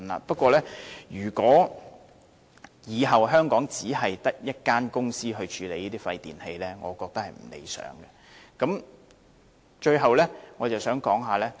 不過，如果往後香港只有一間公司處理這些廢電器，我認為是不理想的。